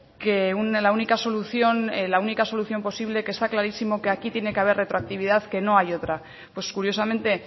que la única solución la única solución posible que está clarísimo que aquí tiene que haber retroactividad que no hay otra pues curiosamente